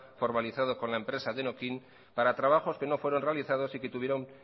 formalizado con la empresa denokinn para trabajos que no fueron realizados y que tuvieron